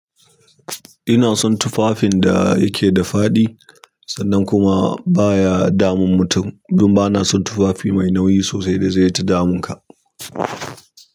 Ina son tufafin da yake da faɗi sannan kuma baya damun mutum, don ba na son tufafi mai nauyi sosai da zai ta damun ka.